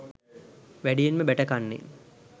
වැඩියෙන්ම බැටකන්නේ